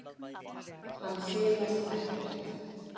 Hann silast ekkert.